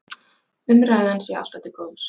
Umræðan sé alltaf til góðs